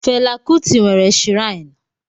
Fela Kuti nwere shirainu